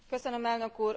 Elnök úr!